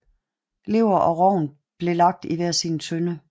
Lever og rogn blev lagt i hver sin tønde